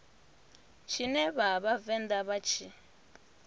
tshine vha vhavenḓa vha tshi